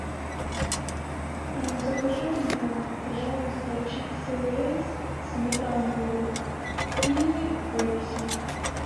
закажи мне пожалуйста чипсы лейс сметана лук и пепси